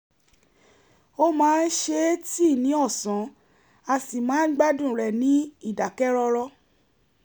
ó máa ń se tíì ní ọ̀sán á sì máa ń gbádùn rẹ̀ ní ìdákẹ́rọ́rọ́